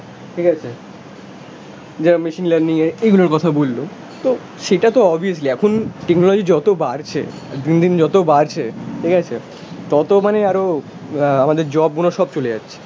ঠিক আছে? যেমন মেশিন লার্নিং এ এগুলোর কথা বলল, তো সেটা তো অবভিয়াসলি, এখন টেকনোলজি যত বাড়ছে, দিন দিন যত বাড়ছে, ঠিক আছে, তত মানে আরো আ আমাদের জব গুলো সব চলে যাচ্ছে